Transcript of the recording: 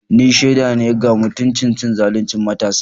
Ni shaida ne ga mutumin cin zaluncin matansa.